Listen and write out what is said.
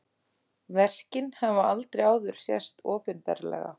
Verkin hafa aldrei áður sést opinberlega